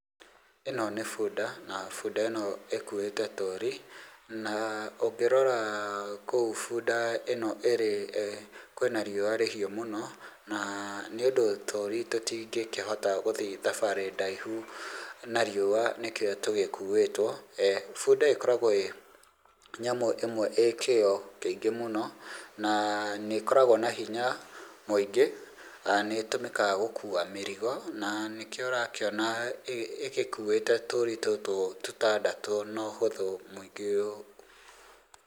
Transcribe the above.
ĩno nĩ bunda na bunda ĩno ĩkute tũri, na ũngĩrora kou bunda ĩno ĩrĩ kwĩna riũa rĩhiũ mũno, na nĩũndũ tũri tũtingĩhota gũthiĩ thabarĩ ndaihu na riũa nĩkĩo tũgĩkuĩtwo. bunda ĩkoragwo ĩ nyamũ ĩmwe ĩ kĩo kĩingĩ mũno, nĩ ĩkoragwo na hinya mũingĩ na nĩ ĩtũmĩkaga gũkua mĩrigo, na nĩkĩo ũrona ĩgĩkuĩte tũri tũtũ tũtandatũ na ũhũthũ mũingĩ ũũ.